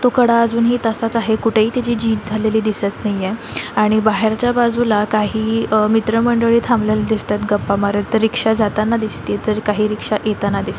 तो कडा अजून ही तसाच आहे कुठे ही तेची झीज झालेली दिसत नाहीये आणि बाहेर च्या बाजूला काही आ मित्र मंडळी थांबलेले दिसत आहेत गप्पा मारत रिक्ष्या जाताना दिसतय तर काही येताना दिसतो.